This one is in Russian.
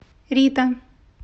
рита